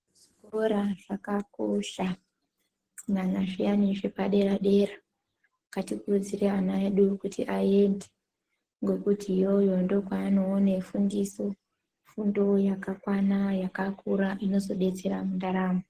Zvikora zvakakosha kunyanaya zviyane zvepadera dera .Ngatikurudzire ana edu kuti ayende ngekuti iyoyo ndokwanowane fundiso ,fundo yakakwana yakakura inozodetsera mundaramo.